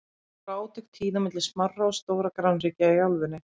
Þá voru átök tíð milli smárra og stórra grannríkja í álfunni.